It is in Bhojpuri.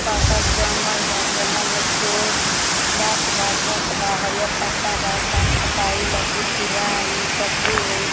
बड़का जंगल बा जंगल में छोट गाछ बा मोट बा हरियर पत्ता बा गाछ कटाई लकड़ी चिराई पटरी होइ।